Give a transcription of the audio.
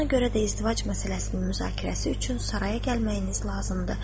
Buna görə də izdivac məsələsinin müzakirəsi üçün saraya gəlməyiniz lazımdır.